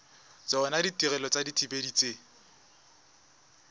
tsona ditirelo tsa dithibedi tse